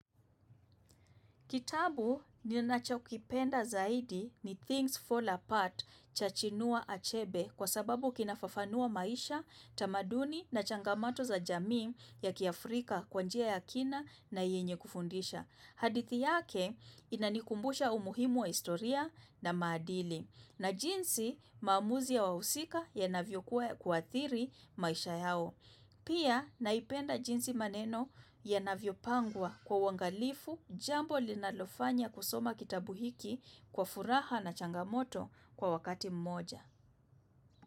Kitabu ninachokipenda zaidi ni Things Fall Apart cha Chinua Achebe kwa sababu kinafafanua maisha, tamaduni na changamato za jamii ya kiafrika kwa njia ya kina na yenye kufundisha. Hadithi yake inanikumbusha umuhimu wa historia na maadili na jinsi maamuzi ya wahusika yanavyokuwa ya kuathiri maisha yao. Pia naipenda jinsi maneno yanavyopangwa kwa uangalifu jambo linalofanya kusoma kitabu hiki kuwa furaha na changamoto kwa wakati mmoja.